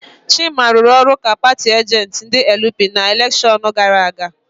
Chima rụrụ ọrụ ka paatị ajentị ndị LP na elekshon gara aga.